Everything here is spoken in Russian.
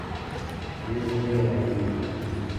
мирзояном